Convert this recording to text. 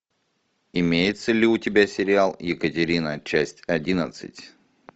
имеется ли у тебя сериал екатерина часть одиннадцать